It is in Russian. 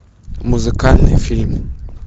музыкальный фильм